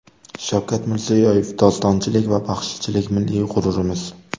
Shavkat Mirziyoyev: Dostonchilik va baxshichilik milliy g‘ururimiz.